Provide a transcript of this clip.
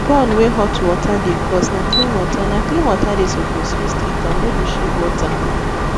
burn wey hot water dey cause na clean water na clean water dey suppose use treatam no be shea butter